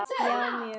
Já, mjög.